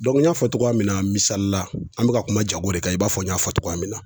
n y'a fɔ cogoya min na, misali la an be ka kuma jago de kan ,i b'a fɔ n y'a fɔ cogoya min na.